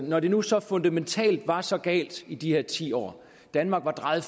når det nu så fundamentalt var så galt i de her ti år danmark var drejet